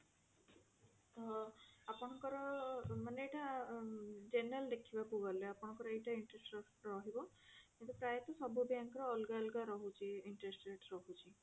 ତ ଆପଣଙ୍କର ମାନେ ଏଇଟା general ଦେଖିବାକୁ ଗଲେ ଆପଣଙ୍କର ଏଇଟା interest rate ଟା ରହିବ କିନ୍ତୁ ପ୍ରାୟ ତ ସବୁ bank ର ଅଲଗା ଅଲଗା ରହୁଛି interest rate ରହୁଛି।